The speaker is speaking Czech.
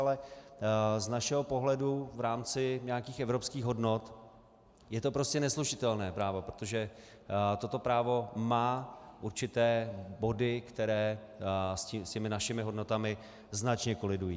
Ale z našeho pohledu v rámci nějakých evropských hodnot je to prostě neslučitelné právo, protože toto právo má určité body, které s těmi našimi hodnotami značně kolidují.